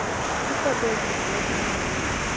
iifoto ezimbini ezilingana